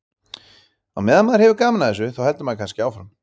Á meðan maður hefur gaman af þessu þá heldur maður kannski áfram.